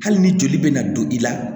Hali ni joli bɛ na don i la